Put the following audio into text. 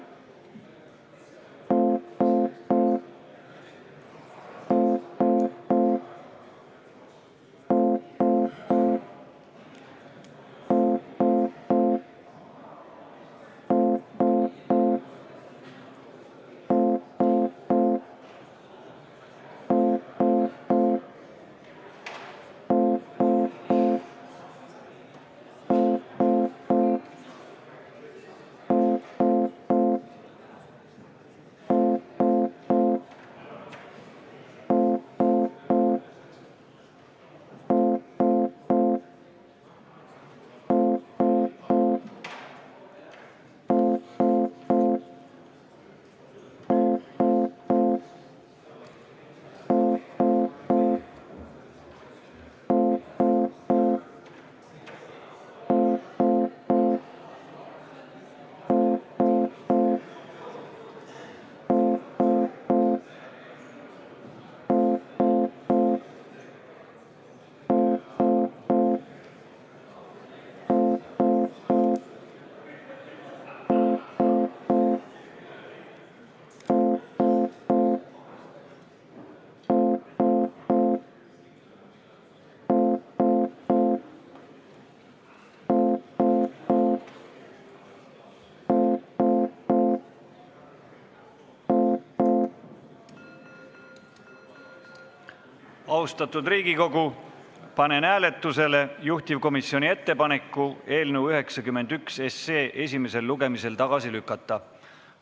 Austatud Riigikogu, panen hääletusele juhtivkomisjoni ettepaneku eelnõu 91 esimesel lugemisel tagasi lükata.